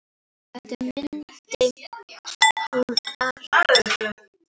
Þetta mundi hún allt.